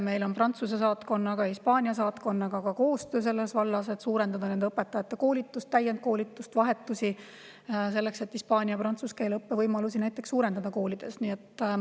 Meil on Prantsuse saatkonnaga ja Hispaania saatkonnaga ka koostöö selles vallas, et suurendada nende õpetajate koolitust, täiendkoolitust, vahetusi, selleks et hispaania ja prantsuse keele õppe võimalusi koolides suurendada.